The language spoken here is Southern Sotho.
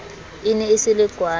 e ne e se lekwala